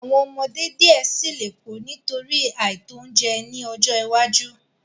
Awọn ọmọde diẹ sii le ku nitori aito ounjẹ ni ọjọ iwaju